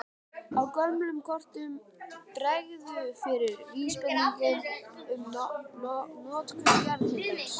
Á gömlum kortum bregður fyrir vísbendingum um notkun jarðhitans.